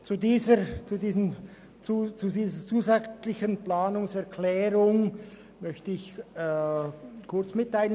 Zu dieser zusätzlichen Planungserklärung möchte ich Folgendes mitteilen: